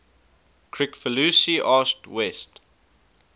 kricfalusi asked west